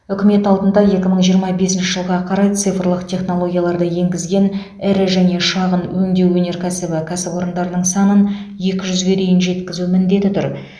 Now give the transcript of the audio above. үкімет алдында екі мың жиырма бесінші жылға қарай цифрлық технологияларды енгізген ірі және шағын өңдеу өнеркәсібі кәсіпорындарының санын екі жүзге дейін жеткізу міндеті тұр